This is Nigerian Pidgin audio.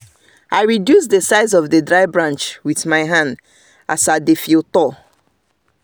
i reduce the size of the dry branc with my hand as i dey the field tour